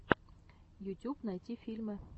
ютюб найти фильмы